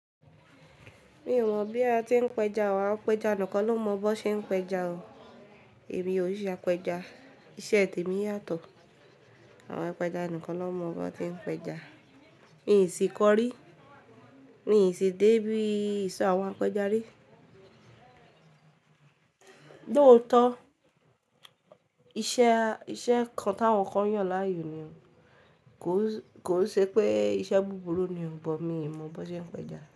Mi ò mọ̀ bí a ti ń péja wa, apéja nìkan ló mọ bó ṣe ń péja o. Èmi ò n ṣe apéja, iṣẹ́ mi yàtọ̀. Àwọn apéja nìkan ló mọ bọ́n ti ń péja. Mi i sì kọ́ rí, mi i sì dé bí ìṣo àwọn apéja rí. Lòótọ́, iṣẹ́ kan t'àwọn kan yàn láàyò ni o ko n. Kò n ṣe pé iṣẹ́ búburú ni o, but mi i mọ b'ón ṣe ń péja.